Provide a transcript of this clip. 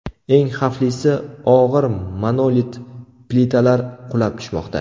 Eng xavflisi, og‘ir monolit plitalar qulab tushmoqda.